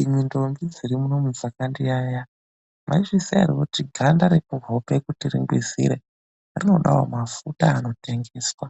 Imwi ndombi dziri pano dzeshe dzakayaeya ,mwaizviziya ere kuti ganda rekuhope kuti ringwizire rinodawo mafuta ekudzora anoite ekutengwa?